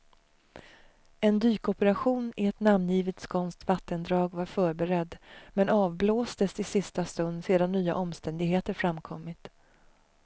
En dykoperation i ett namngivet skånskt vattendrag var förberedd, men avblåstes i sista stund sedan nya omständigheter framkommit.